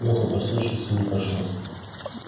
лёха послушался и не пошёл